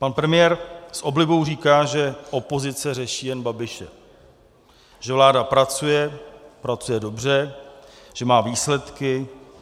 Pan premiér s oblibou říká, že opozice řeší jen Babiše, že vláda pracuje, pracuje dobře, že má výsledky.